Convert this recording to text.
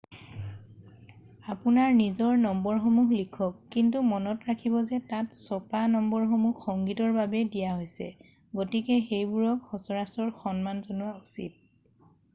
আপোনাৰ নিজৰ নম্বৰসমূহ লিখক কিন্তু মনত ৰাখিব যে তাত থকা ছপা নম্বৰসমূহ সংগীতৰ বাবে দিয়া হৈছে গতিকে সেইবোৰক সচৰাচৰ সন্মান জনোৱা উচিত